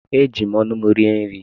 Eji m ọnụ m rie nri.